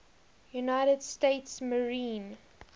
united states marine